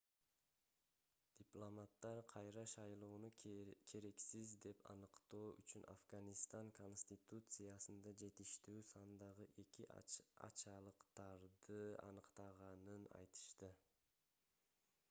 дипломаттар кайра шайлоону керексиз деп аныктоо үчүн афганистан конституциясында жетиштүү сандагы эки ачалыктарды аныктаганын айтышты